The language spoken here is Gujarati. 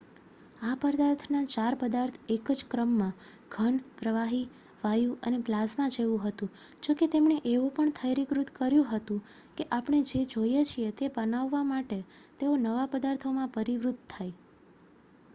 આ પદાર્થના ચાર પદાર્થ એક જ ક્રમમાં: ઘન પ્રવાહી વાયુ અને પ્લાઝમા જેવુ હતું જોકે તેમણે એવો પણ થયરીકૃત કર્યું હતુ કે આપણે જે જોઈએ છીએ તે બાનવવા માટે તેઓ નવા પદાર્થોમાં પરિવર્તિત થાય છે